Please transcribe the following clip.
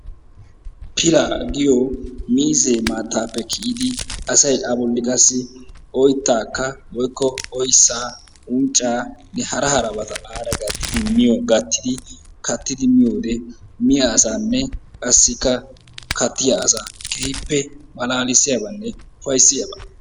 Pilaa giyo miizzee maattaappe kiyidi asayi a bolli qassi oyttaakka woykko oyssaa unccaanne hara harabata aara gattidi miyo gattidi kattidi miyode miya asaanne qassi kattiya asaa keehippe malaalissiyabanne ufayssiyaba.